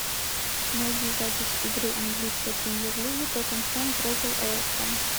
найди запись игры английской премьер лиги тоттенхэм против эвертон